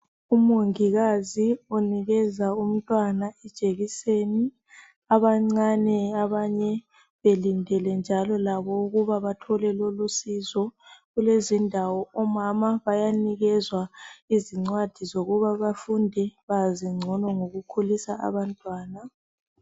Umongikazi unikeza umntwana ijekiseni, abancane abanye belindele njalo labo ukuba bathole lolu sizo. Kulezi ndawo omama bayanikezwa izincwadi zokuba bafunde bazi ngcono ngokukhulisa abantwana.